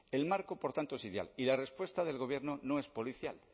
el marco por tanto es ideal y la respuesta del gobierno no es policial